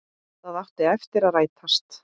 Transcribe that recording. Það átti eftir að rætast.